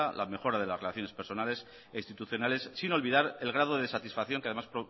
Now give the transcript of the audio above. la mejora de las relaciones personales e institucionales sin olvidar el grado de satisfacción que además